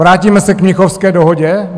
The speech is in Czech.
Vrátíme se k Mnichovské dohodě?